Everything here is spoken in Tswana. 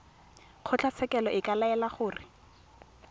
kgotlatshekelo e ka laela gore